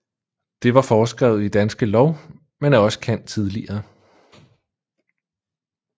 Det var foreskrevet i Danske Lov men er også kendt tidligere